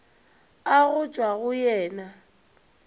a go tšwa go yena